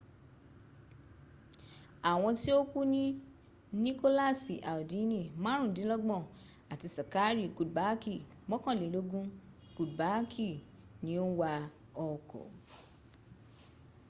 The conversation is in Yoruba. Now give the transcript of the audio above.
àwọn tí ó kú ní nikolasi aldini márùndínlọ́gbọ̀n àti sakari kudbaaki mọ́kànlélógún kudbaaki ni ó ń wa ọkọ̀